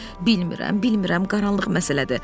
Bilmirəm, bilmirəm, qaranlıq məsələdir.